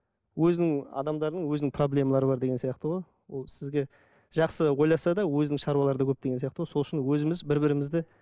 өзінің адамдардың өзінің проблемалары бар деген сияқты ғой ол сізге жақсы ойласа да өзінің шаруалары да көп деген сияқты ғой сол үшін өзіміз бір бірімізді